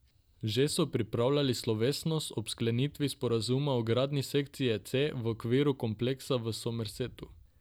Že so pripravljali slovesnost ob sklenitvi sporazuma o gradnji sekcije C v okviru kompleksa v Somersetu.